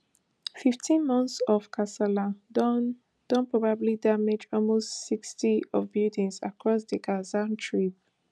fifteen months of kasala don don probably damage almost sixty of buildings across di gaza strip